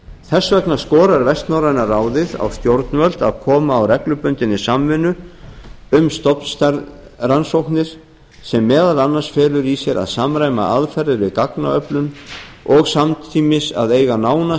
þess vegna skorar vestnorræna ráðið á stjórnvöld að koma á reglubundinni samvinnu um stofnstærðarrannsóknir sem meðal annars felur í sér að samræma aðferðir við gagnaöflun og samtímis að eiga nána